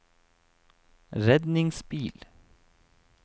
redningsbil